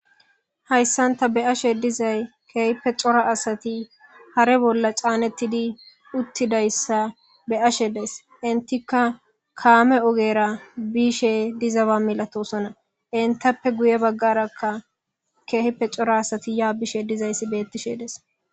Haysan ta beyashe dizaysi keehi cora adati haatha bolla caanetidi dizaysa beyashe days entika kaame ogera bishe diza milatosona entappe guye bagaraka keehippe cora asati ya bishe dizaysi beetes.